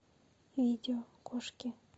видео кошки